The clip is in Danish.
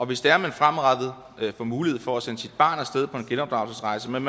hvis det er at man fremadrettet får mulighed for at sende sit barn af sted på en genopdragelsesrejse men